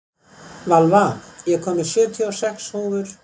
Valva, ég kom með sjötíu og sex húfur!